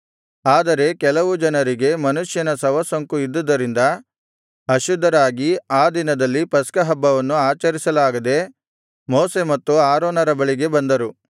ಆದರೆ ಕೆಲವು ಜನರಿಗೆ ಮನುಷ್ಯನ ಶವಸೋಂಕು ಇದ್ದುದರಿಂದ ಅಶುದ್ಧರಾಗಿ ಆ ದಿನದಲ್ಲಿ ಪಸ್ಕಹಬ್ಬವನ್ನು ಆಚರಿಸಲಾಗದೆ ಮೋಶೆ ಮತ್ತು ಆರೋನರ ಬಳಿಗೆ ಬಂದರು